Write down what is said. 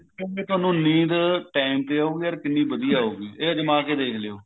ਫੇਰ ਤੁਹਾਨੂੰ ਨੀਂਦ time ਤੇ ਆਉਗੀ ਅਰ ਕਿੰਨੀ ਵਧੀਆ ਆਉਗੀ ਹ ਅਜਮਾ ਕੇ ਦੇਖ ਲਿਓ